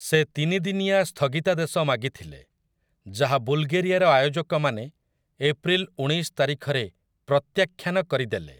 ସେ ତିନି ଦିନିଆ ସ୍ଥଗିତାଦେଶ ମାଗିଥିଲେ, ଯାହା ବୁଲ୍‌ଗେରିଆର ଆୟୋଜକମାନେ ଏପ୍ରିଲ୍ ଉଣେଇଶ ତାରିଖରେ ପ୍ରତ୍ୟାଖ୍ୟାନ କରିଦେଲେ ।